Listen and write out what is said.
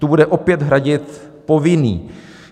Tu bude opět hradit povinný.